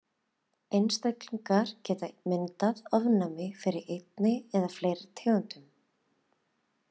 Einstaklingar geta myndað ofnæmi fyrir einni eða fleiri tegundum.